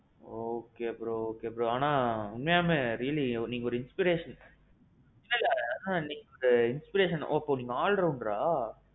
okay bro okay bro ஆனான், உண்மையாலுமே நீங்க ஒரு inspiration. இல்ல இல்ல என்ன நீங்க ஒரு inspiration, ஓஒ நீங்க ஒரு all rounder?